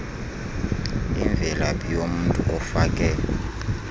imvelaphi yomntu ofake